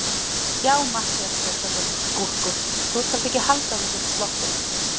Já, Matthías Traustason, skúrkur, þú skalt ekki halda að þú sért sloppinn!